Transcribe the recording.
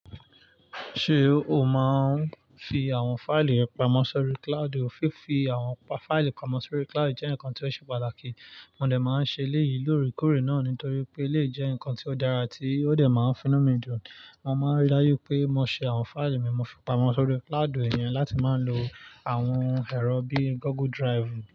Ṣé o máa ń fi àwọn fáìlì rẹ pamọ́ sórí cloud? Ó fi fi àwọn fáìlì pamọ́ sórí cloud jẹ́ nǹkan tí ó ṣe pàtàkì. Mò dẹ̀ máa ń ṣe lẹ́yìn lóore kóòrè náà nítorí pé lè jẹ́ ǹkan tí ó dára tí ó dẹ̀ máa ń fúnni mi ju. Mo máa ń rí láyé pé mo sè àwọn fáìlì mi mo fi pamọ́ sórí cloud, ìyẹn láti máa ń lo àwọn ẹ̀rọ bíi Google Drive.